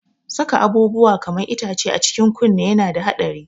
Saka abubuwa kaman itace a cikin kunne yana da haɗari.